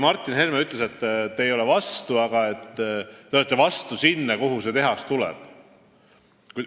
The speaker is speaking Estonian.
Martin Helme ütles, et te ei ole selle vastu, aga et te olete selle vastu, et see tehas just sinna tuleb.